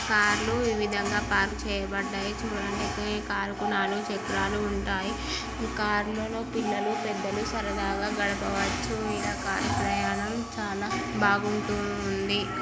కార్లు ఈ విధంగా పార్క్ చేయబడ్డాయి. చూడండి ఈ కారుకు నాలుగు చక్రాలు ఉంటాయి. కార్లో పిల్లలు పెద్దలు సరదాగా గడపవచ్చు. కార్ ప్రయాణం చాలా బాగుంటుంది.